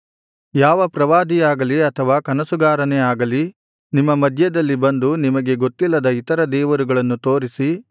ಯಾವ ಪ್ರವಾದಿಯಾಗಲಿ ಅಥವಾ ಕನಸುಗಾರನೇ ಆಗಲಿ ನಿಮ್ಮ ಮಧ್ಯದಲ್ಲಿ ಬಂದು ನಿಮಗೆ ಗೊತ್ತಿಲ್ಲದ ಇತರ ದೇವರುಗಳನ್ನು ತೋರಿಸಿ